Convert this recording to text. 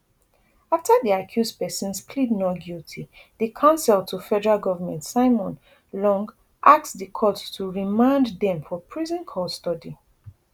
afta di accused pesins plead not guilty di counsel to fg simon long ask di court to remand dem for prison custody